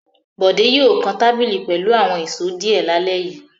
Bọ̀dé yóò kan tábìlì pẹ̀lú àwọn ìṣó díẹ̀ lálẹ́ yìí.